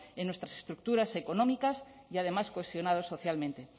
en nuestras estructuras económicas y además cohesionados socialmente